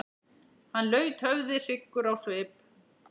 Hann laut höfði hryggur á svip.